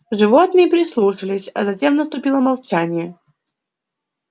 животные прислушались а затем наступило молчание